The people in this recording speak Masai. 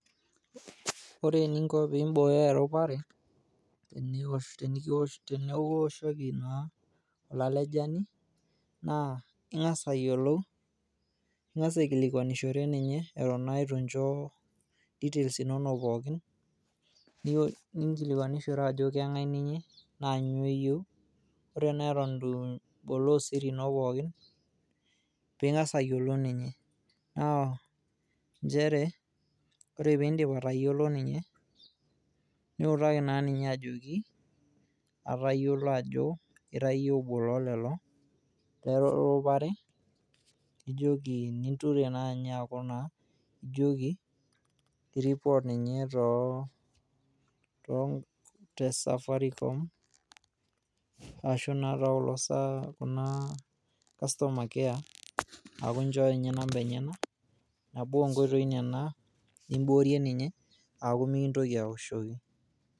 Ore eninko pibooyo eropare tenikioshoki naa olalejani naa ingas ayiolou ,ingas aikilikwanishore ninye Eton naa itu incho details inonok pookin ,ninkilikwanishore Ajo kengae ninye naa inyoo eyieu . Ore naai Eton itu iboloo siri ino pookin pingas ayiolou ninye . Naa nchere ore pindip atayiolo ninye niutaki naa ninye ajoki atayiolo Ajo ira iyie obo loo lelo lerupare.